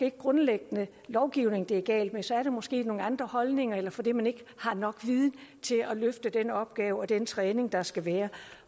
ikke grundlæggende lovgivningen det er galt med så er det måske af nogle andre holdninger eller fordi man ikke har nok viden til at løfte den opgave og den træning der skal være